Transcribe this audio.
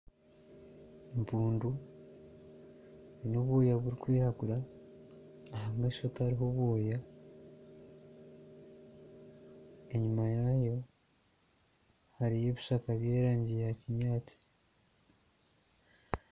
Empundu eine obwoya burikwiragura, aha maisho tihariho bwoya. Enyima yaayo hariyo ebishaka by'erangi ya kinyaatsi.